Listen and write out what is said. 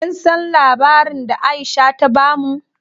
Kin san labarin da Aisha ta bamu?